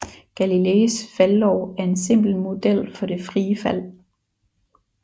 Galileis faldlov er en simpel model for det frie fald